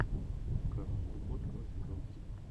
казус кукоцкого сезон три